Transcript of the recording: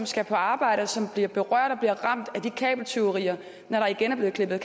skal på arbejde som bliver berørt og bliver ramt af de kabeltyverier når der igen er blevet klippet